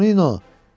Tonino!